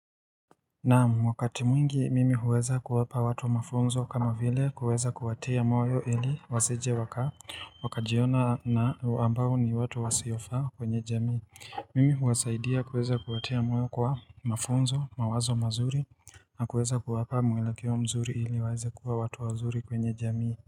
Naam, wakati mwingi mimi huweza kuwapa watu mafunzo kama vile kuweza kuwatia moyo ili wasijewaka Wakajiona na ambao ni watu wasiofaa kwenye jamii Mimi huwasaidia kuweza kuwatia moyo kwa mafunzo, mawazo mazuri na kuweza kuwapa mwelekeo mzuri ili waeze kuwa watu wazuri kwenye jamii.